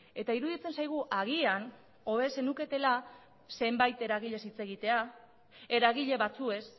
eta iruditzen zaigu agian hobe zenuketela zenbait eragileez hitz egitera eragile batzuez